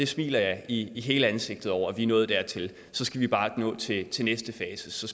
smiler i hele ansigtet over at vi er nået dertil så skal vi bare nå til til næste fase så